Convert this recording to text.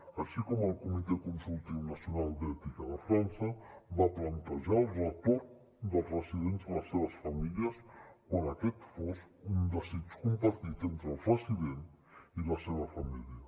així com el comitè consultiu nacional d’ètica de frança va plantejar el retorn dels residents a les seves famílies quan aquest fos un desig compartit entre els residents i la seva família